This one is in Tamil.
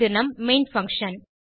இது நம் மெயின் பங்ஷன்